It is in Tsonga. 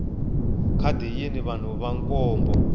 khadi yini vanhu va nkombo